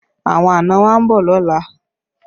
Àwọn àna wa ń bọ̀ lọ́la